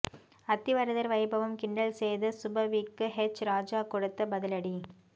அத்திவரதர் வைபவம் கிண்டல் செய்த சுப வீக்கு ஹெச் ராஜா கொடுத்த பதிலடி